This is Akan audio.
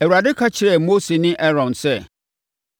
Awurade ka kyerɛɛ Mose ne Aaron sɛ: